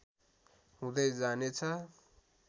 हुँदै जानेछ